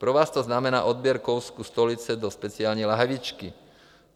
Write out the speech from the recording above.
Pro vás to znamená odběr kousku stolice do speciální lahvičky.